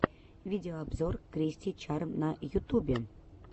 видеообзор кристи чарм на ютубе